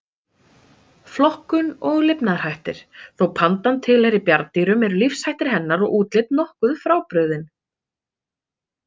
Flokkun og lifnaðarhættir Þó pandan tilheyri bjarndýrum eru lífshættir hennar og útlit nokkuð frábrugðin.